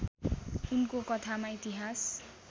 उनको कथामा इतिहास